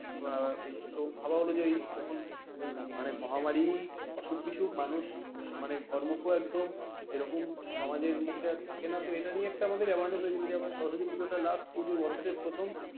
আহ তো ভাবা অনুযায়ী তখন মানে মহামারি অসুখ বিসুখ মানুষ মানে ঘর মুখো একদম এরকম সমাজের মুখে আর থাকেনা তো এটা নিয়ে আমাদের একটা earn হয়েছিলো যে আমরা সরস্বতী পুজোটা last পুজো বছরের প্রথম,